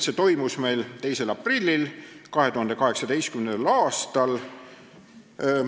See toimus 2. aprillil 2018. aastal.